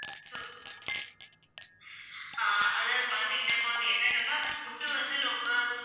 ஆஹ் அதாவது பாத்தீங்கன்னா இப்போ வந்து என்னன்னா ma'am food வந்து ரொம்ப